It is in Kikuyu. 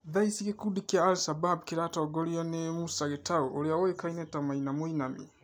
Thaa ĩcĩ gĩkũndĩ kĩa al-shabab kĩratongorĩo nĩ Musa Gĩtaũ ũrĩa ũĩkaine ta Maina Mũinami